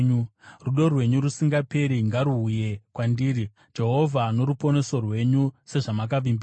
Rudo rwenyu rusingaperi ngaruuye kwandiri, Jehovha, noruponeso rwenyu sezvamakavimbisa;